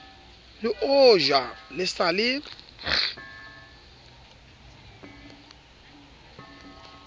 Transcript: le ojwa le sa le